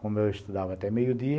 Como eu estudava até meio-dia,